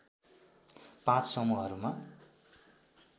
पाँच समूहहरूमा